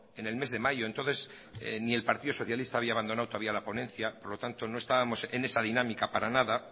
en el mes de mayo entonces ni el partido socialista había abandonado todavía la ponencia por lo tanto no estábamos en esa dinámica para nada